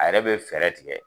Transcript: A yɛrɛ be fɛɛrɛ tigɛ